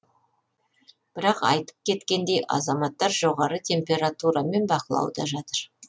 бірақ айтып кеткендей азаматтар жоғары температурамен бақылауда жатыр